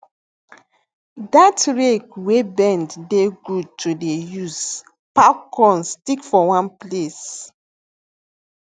dat rake wey bend dey good to dey use pack corn stick for one place